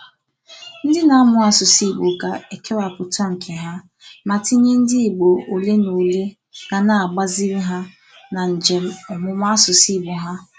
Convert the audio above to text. Ndị na-amụ asụsụ Igbo ga-ekewapụta nke ha, ma tinye ndị Igbo olenaole ga na-agbaziri ha na njem ọmụmụ asụsụ Igbo ha.